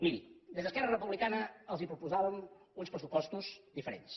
miri des d’esquerra republicana els proposàvem uns pressupostos diferents